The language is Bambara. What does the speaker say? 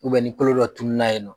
U bɛ ni kolo dɔ tununa yen nɔ